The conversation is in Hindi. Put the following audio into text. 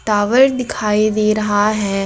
टावर दिखाई दे रहा है।